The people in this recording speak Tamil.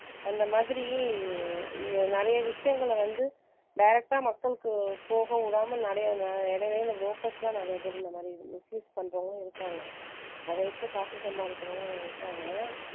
அந்த மாதிரி நிறைய விஷயங்கள வந்து direct அ மக்களுக்கு போக விடாம நிறைய இடையில இந்த brokers எல்லாம் நிறைய பேர் இந்த மாதிரி misuse பண்றவங்களும் இருக்காங்க அதை வச்சு காசு சம்பாதிக்கிறவங்க இருக்காங்க